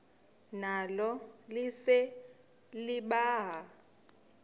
nalo lise libaha